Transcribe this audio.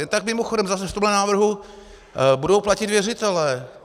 Jen tak mimochodem, zase v tomhle návrhu budou platit věřitelé.